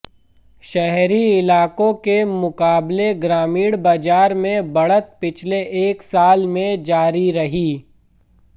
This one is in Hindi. शहरी इलाकों के मुकाबले ग्रामीण बाजार में बढ़त पिछले एक साल में जारी रही